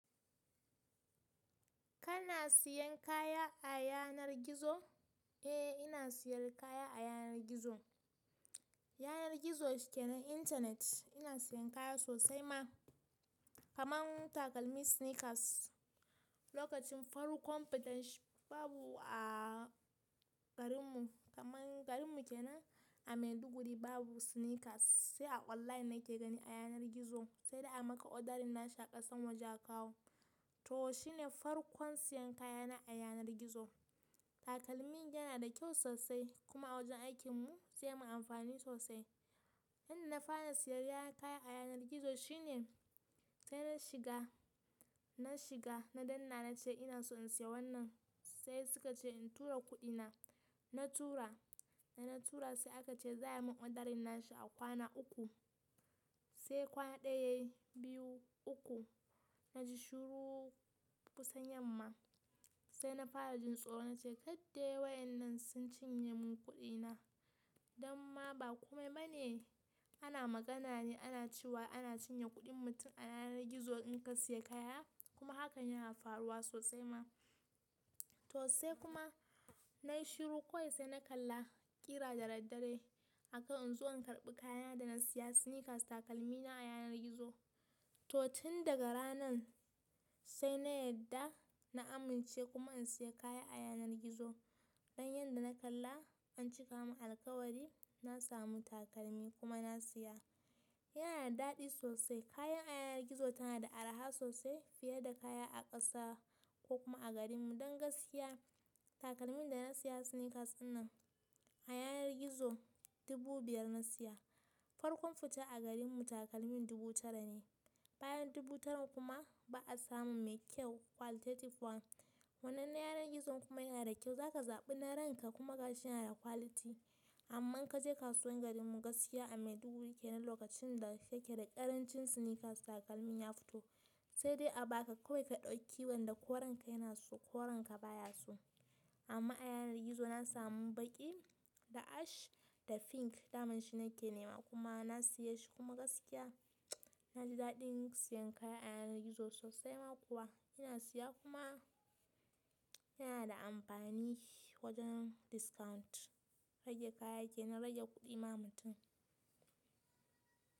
Kana siyan kaya a yanar gizo? Eh ina siyar kaya a yanar gizo. Yanar gizo suke na intanet ina siyan kaya sosai ma. Kaman takalmi sneakers, lokacin farkon fitan shi babu a garin mu kaman garin mu kenan a Maiduguri babu sneakers, sai a online nake gani a yanar gizo sai dai a maka odar nashi aƙasan waje a kawo. To shine farkon siyan kayana a yanar gizo. Takalmin yana da kyau sosai kuma a wajen aikin mu zai mun amfani sosai. Yanda na fara siyayya kaya a yanar gizo shine sai na shiga, na shiga na danna na ce ina so in siya wannan sai suka ce in tura kuɗi na. Na tura, da na tura sai aka ce za a min odar na shi a kwana uku. Sai kwana ɗaya, biyu, uku na ji shiru kusan yamma sai na fara jin tsoro na ce kaddai wayannan sun cinye mun kuɗi na. Dan ma ba kome ba ne ana magana ne ana cewa ana cinye kuɗin mutum a yanar gizo in ka siya kaya kuma hakan yana faruwa sosai ma. To sai kuma na yi shiru kawai sai na kalla ƙira da daddare akan in zo in karɓi kayana da na siya sneakers takalmina a yanar gizo. To tun daga ranan sai na yadda na amince kuma in siya kaya a yanar gizo. Don yanda na kalla an cika mun alkawari na samu takalmi kuma na siya. Yana da daɗi sosai kaya a yanar gizo tana da araha sosai fiye da kaya a ƙasa ko kuma a garin mu. Don gaskiya takalmin da na siya sneakers dinnan a yanar gizo dubu biyar na siya. Farkon fita a garin mu takalmin dubu tara ne. Bayan dubu taran kuma ba a samun mai kyau qualitative one. Wannan na yanar gizon kuma yana da kyau za ka zaɓi nau'in ka kuma gashi yana da quality. Amma in ka je kasuwan garin mu gaskiya a Maiduguri kenan lokacin da yake da ƙarancin sneakers takalmin ya fito sai dai a baka kawai ka ɗauki wanda ko ranka yana so ko ranka baya su. Amma a yanar gizo na samu baƙi da ash da pink daman shi nake nema kuma na siye shi kuma gaskiya na ji daɗin siyan kaya a yanar gizo sosai ma kuwa ina siya kuma yana da amfani wajen discount. Raje kaya kenan rage kuɗi ma mutum.